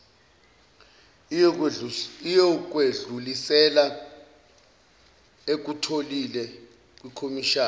iyokwedlulisela ekutholile kwikhomishana